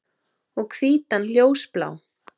Og hvítan ljósblá.